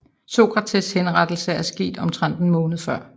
Sokrates henrettelse er sket omtrent en måned før